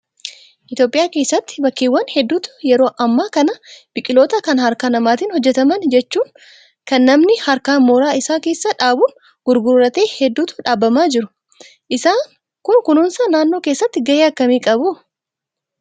Itoophiyaa keessatti bakkeewwan hedduutti yeroo ammaa kana biqiloota kan harka namaatiin hojjataman jechuun kan namni harkaan mooraa isaa keessa dhaabuun gurgurte hedduutu dhaabamaa jiru. Isaan Kun kunuunsa naannoo keessatti gahee akkami qabu?